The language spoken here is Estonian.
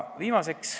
Viimaseks.